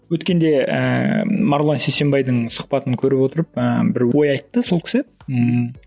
өткенде ііі марғұлан сейсенбайдың сұхбатын көріп отырып ыыы бір ой айтты сол кісі ммм